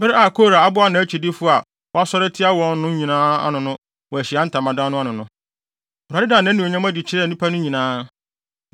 Bere a Kora aboa nʼakyidifo a wɔasɔre atia wɔn no nyinaa ano wɔ Ahyiae Ntamadan no ano no, Awurade daa nʼanuonyam adi kyerɛɛ nnipa no nyinaa.